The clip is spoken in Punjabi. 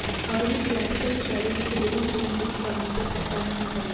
ਆਧੁਨਿਕ ਕਲਾਸਿਕ ਦੀ ਸ਼ੈਲੀ ਵਿੱਚ ਲਿਵਿੰਗ ਰੂਮ ਵਿੱਚ ਫਰਨੀਚਰ ਸਸਤਾ ਨਹੀਂ ਹੋ ਸਕਦਾ